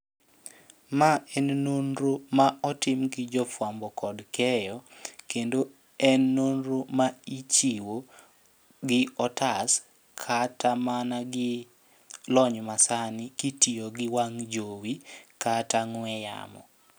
Ma en nonro ma otim gi jo fuambo kod keyo. Kendo en norno ma ichiwo gi otas kata mana gi lony ma sani kitiyo gi wang' jowi kata ng'we yamo.